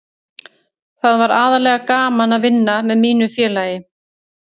Það var aðallega gaman að vinna með mínu félagi.